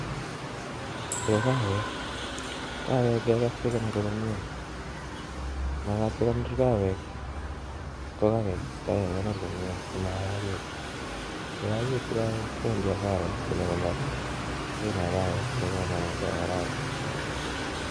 chuu ko kaawek. Kaawek inge kees ke kondori komyie sima yakitu. Po kamanuuut inge kondor kaawek komyie